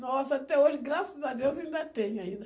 Nossa, até hoje, graças a Deus, ainda tem ainda.